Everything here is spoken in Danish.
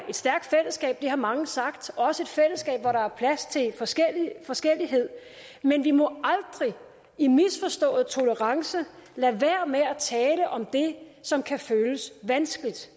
er stærkt fællesskab det har mange sagt også et fællesskab hvor der er plads til forskellighed forskellighed men vi må aldrig i misforstået tolerance lade være med at tale om det som kan føles vanskeligt